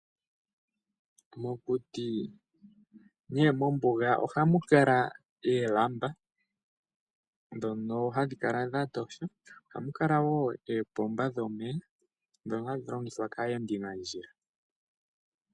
Mokuti nenge mombuga ohamu kala oolamba ndhono hadhi kala dha tosha. Ohamu kala wo oopomba dhomeya ndhono hadhi longithwa kaayendi nandjila.